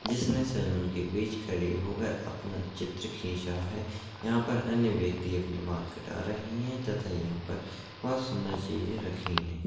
इसने सैलून बीच खड़ी हो कर अपना चित्र खींचा है यहां पर अन्य व्यक्ति अपने बाल कटा रहे है तथा यहा पर बहुत सुन्दर चीज़े रखी है।